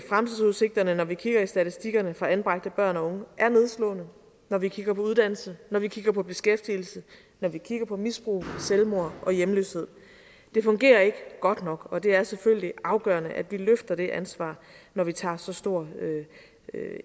fremtidsudsigterne når vi kigger i statistikkerne for anbragte børn og unge er nedslående når vi kigger på uddannelse når vi kigger på beskæftigelse når vi kigger på misbrug selvmord og hjemløshed det fungerer ikke godt nok og det er selvfølgelig afgørende at vi løfter det ansvar når vi tager så stor